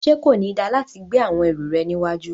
Ṣe ko ni da lati gbe awọn ẹru rẹ níwájú?